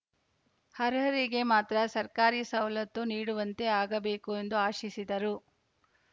ಅರ್ಹರಿಗೆ ಮಾತ್ರ ಸರ್ಕಾರಿ ಸೌಲತ್ತು ನೀಡುವಂತೆ ಆಗಬೇಕು ಎಂದು ಆಶಿಸಿದರು